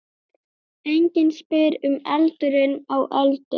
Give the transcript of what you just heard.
Enginn spyr um aldurinn á Öldu.